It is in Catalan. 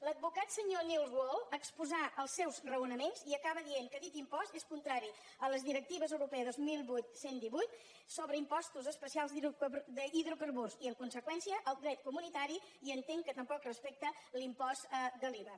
l’advocat senyor nils wahl exposà els seus raonaments i acaba dient que el dit impost és contrari a la directiva europea dos mil vuit cent i divuit sobre impostos especials d’hidrocarburs i en conseqüència al dret comunitari i entén que tampoc respecta l’impost de l’iva